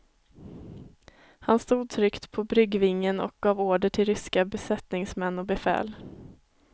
Han stod tryggt på bryggvingen och gav order till ryska besättningsmän och befäl.